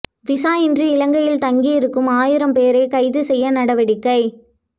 visa இன்றி இலங்கையில் தங்கியிருக்கும் ஆயிரம் பேரை கைது செய்ய நடவடிக்கை